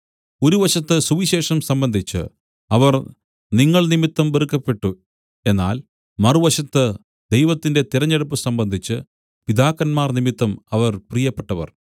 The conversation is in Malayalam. ഒരു വശത്ത് സുവിശേഷം സംബന്ധിച്ച് അവർ നിങ്ങൾ നിമിത്തം വെറുക്കപ്പെട്ടു എന്നാൽ മറുവശത്ത് ദൈവത്തിന്റെ തിരഞ്ഞെടുപ്പ് സംബന്ധിച്ച് പിതാക്കന്മാർനിമിത്തം അവർ പ്രിയപ്പെട്ടവർ